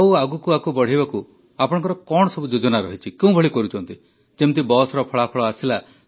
ଆଉ ଆଗକୁ ଏହାକୁ ବଢ଼ାଇବାର ଆପଣଙ୍କର କଣ ଯୋଜନା ରହିଛି କେଉଁଭଳି କରୁଛନ୍ତି ଯେପରି ବସ୍ର ଫଳାଫଳ ଆସିଲା